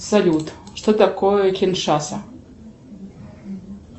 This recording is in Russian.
салют что такое киншаса